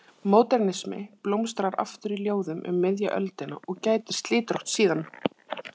Módernismi blómstrar aftur í ljóðum um miðja öldina og gætir slitrótt síðan.